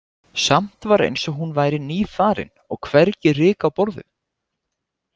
Samt var eins og hún væri nýfarin og hvergi ryk á borðum.